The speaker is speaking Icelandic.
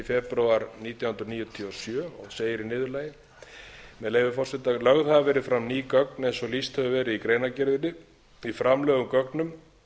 febrúar nítján hundruð níutíu og sjö og segir í niðurlagi með leyfi forseta lögð hafa verið fram ný gögn eins og lýst hefur verið í greinargerðinni í framlögðum gögnum